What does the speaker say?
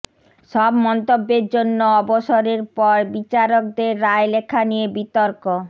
সব মন্তব্যের জন্য অবসরের পর বিচারকদের রায় লেখা নিয়ে বিতর্ক